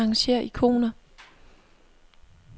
Arrangér ikoner.